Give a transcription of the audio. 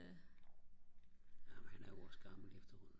jamen han er jo også gammel efterhånden